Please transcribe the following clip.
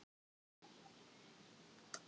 Þannig hefur hver miðill bæði sína kosti og galla.